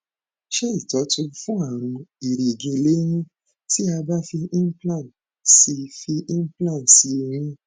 ṣe itọju fún àrùn erigi lẹyìn ti a ba fi implant si fi implant si eyín